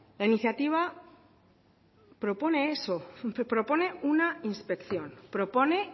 la iniciativa propone eso propone una inspección propone